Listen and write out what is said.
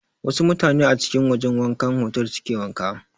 Wasu mutane a cikin wajan wankan otal suke wanka.